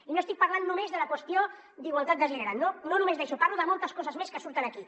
i no estic parlant només de la qüestió d’igualtat de gènere no només d’això parlo de moltes coses més que surten aquí